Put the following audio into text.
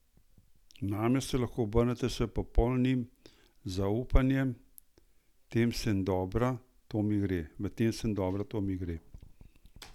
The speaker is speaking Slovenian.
Name se lahko obrnete s popolnim zaupanjem, v tem sem dobra, to mi gre!